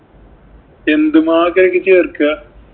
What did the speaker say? എന്തു മാവാ അതിലേക്കു ചേര്‍ക്കുക?